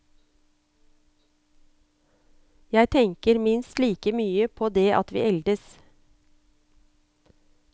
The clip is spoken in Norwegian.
Jeg tenker minst like mye på det at vi eldes.